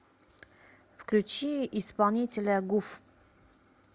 включи исполнителя гуф